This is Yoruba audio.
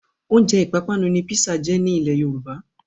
Oúnjẹ ìpápánu ni písà jẹ́ ní ilẹ́ Yorùbá.